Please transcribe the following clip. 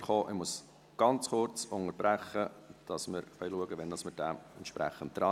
Ich muss ganz kurz unterbrechen, damit wir schauen können, wann wir diesen behandeln können.